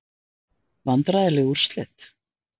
Vandræðaleg úrslit?